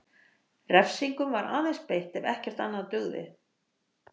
Refsingum var aðeins beitt ef ekkert annað dugði.